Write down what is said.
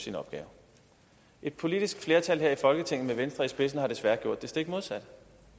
sin opgave et politisk flertal her i folketinget med venstre i spidsen har desværre gjort det stik modsatte